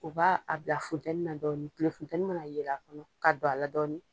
U b'a bila funteni na dɔɔnin kile funteni mana yɛlɛ a fɛ ka don a la dɔɔnin.